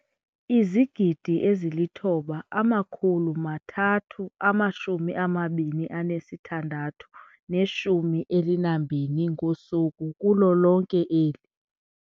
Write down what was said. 9 032 612 ngosuku kulo lonke eli.